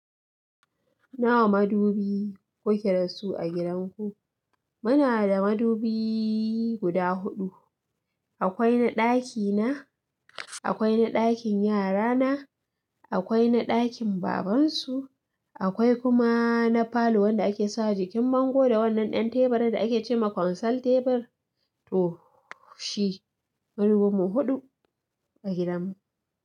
Nawa madubi kuke da su a gidan ku? Muna da madubi guda huɗu. Akwai na ɗaki na, akwai na ɗakin yara na, akwai na ɗakin baban su, akwai kuma na falo wanda ake sawa jikin bango da wannan ɗan teɓarin da ake ce ma konsol teɓir. To shi, madubi mu huɗu a gidan mu.